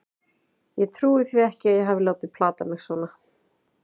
Ég trúi því ekki að ég hafi látið plata mig svona.